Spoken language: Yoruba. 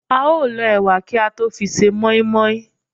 á o l ọ ewà kí à tọ fí sẹ moimoi